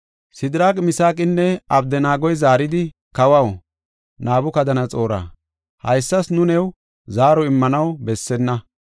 Sidiraaqi, Misaaqinne Abdanaagoy zaaridi, “Kawaw, Nabukadanaxoora, haysas nu new zaaro immanaw bessenna.